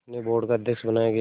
उन्हें बोर्ड का अध्यक्ष बनाया गया